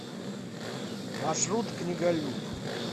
маршрут книголюб